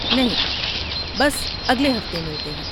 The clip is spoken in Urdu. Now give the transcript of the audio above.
نہیں، بس، اگلے ہفتے ملتے ہیں۔